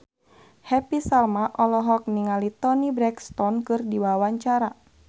Happy Salma olohok ningali Toni Brexton keur diwawancara